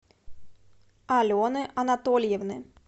алены анатольевны